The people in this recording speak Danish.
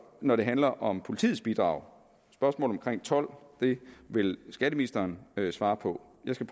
når det handler om politiets bidrag spørgsmål om told vil skatteministeren svare på jeg skal